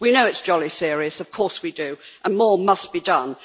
We know it is jolly serious, of course we do, and more must be done.